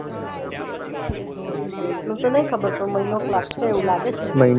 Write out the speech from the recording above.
date નું તો નઈ ખબર પણ મહિનોક લાગશે એવું લાગે છે